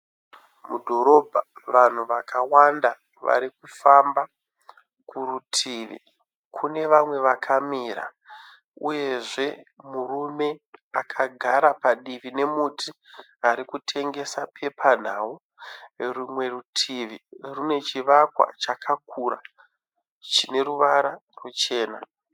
Mudhorobha, vanhu vakawanda varikufamba. Kurutivi kune vamwe vakamira, uyezve murume akagara padivi nemuti arikutengesa pepanhau. Rumwe rutivi rune chivakwa chakakura chineruvara ruchena